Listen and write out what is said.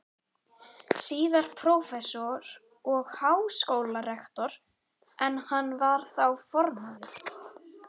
síðar prófessor og háskólarektor, en hann var þá formaður